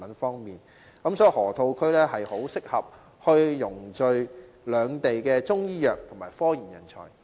所以，河套區很適合匯聚兩地的中醫藥及科研人才。